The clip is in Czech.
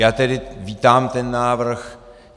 Já tedy vítám ten návrh.